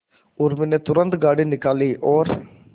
उर्मी ने तुरंत गाड़ी निकाली और